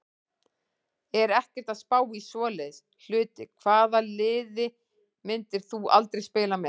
Er ekkert að spá í svoleiðis hluti Hvaða liði myndir þú aldrei spila með?